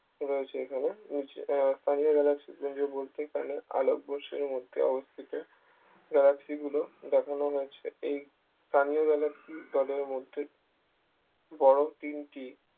রয়েছে এখানে উজ আহ স্থানীয় galaxy পুঞ্জ মধ্যেখানে আলো বৎসরের মধ্যে অবস্থিত galaxy গুলো দেখানো হয়েছে এই স্থানীয় galaxy দলের মধ্যে বড় তিনটি